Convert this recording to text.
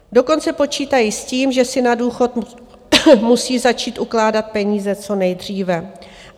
Dokonce počítají s tím, že si na důchod musí začít ukládat peníze co nejdříve.